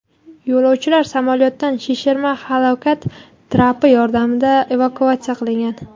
Yo‘lovchilar samolyotdan shishirma halokat trapi yordamida evakuatsiya qilingan.